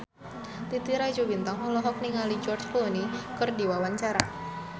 Titi Rajo Bintang olohok ningali George Clooney keur diwawancara